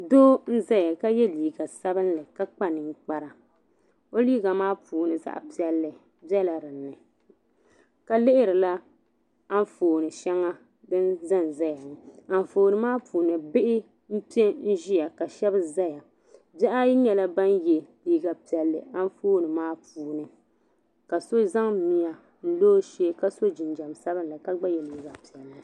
Doo n-zaya ka ye liiga sabinli ka kpa ninkpara o liiga maa puuni zaɣ'piɛlli bela di ni ka lihirila Anfooni shɛŋa din za n-zaya anfooni maa puuni bihi m-pe ʒiya ka shɛba zaya bihi ayi nyɛla ban ye liiga piɛlli anfooni maa puuni ka so za miya n-lo o shee ka so jinjam sabinli ka gba ye liiga piɛlli.